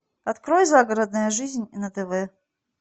открой загородная жизнь на тв